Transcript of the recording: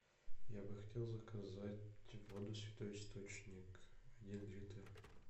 я бы хотел заказать воду святой источник один литр